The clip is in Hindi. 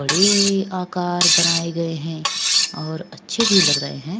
बडी आकार बनाये गए है और अच्छे भी लग रहे है।